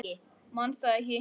Man það ekki.